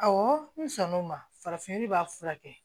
Awɔ n sɔnn'o ma farafin b'a furakɛ